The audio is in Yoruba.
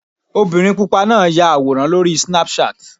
Obìnrin pupa náà ya àwòrán lórí Snapchat.